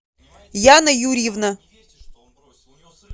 яна юрьевна